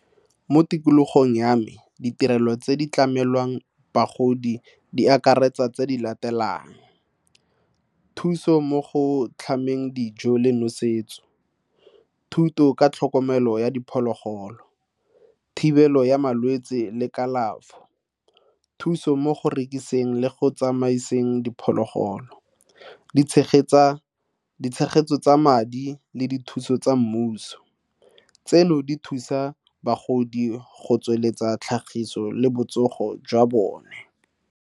Mo tikologong ya me, ditirelo tse di tlamelwang bagodi di akaretsa tse di latelang thuso mo go tlhameng dijo le nosetso, thuto ka tlhokomelo ya diphologolo, thibelo ya malwetse le kalafo thuso mo go rekisetsa le go tsamaiseng diphologolo di tshegetsa ditshegetso tsa madi le dithuso tsa mmuso. Tseno di thusa bagodi go tsweletsa tlhagiso le botsogo jwa bone.